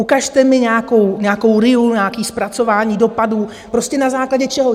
Ukažte mi nějakou RIA, nějaké zpracování dopadů, prostě na základě čeho.